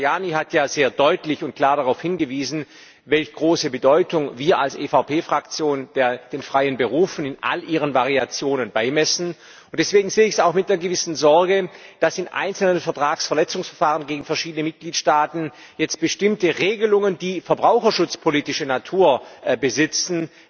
Der Kollege Tajani hat ja sehr deutlich und klar darauf hingewiesen, welch große Bedeutung wir als EVP Fraktion den freien Berufen in all ihren Variationen beimessen und deswegen sehe ich es auch mit einer gewissen Sorge, dass in einzelnen Vertragsverletzungsverfahren gegen verschiedene Mitgliedstaaten jetzt bestimmte Regelungen, die verbraucherschutzpolitische Natur besitzen,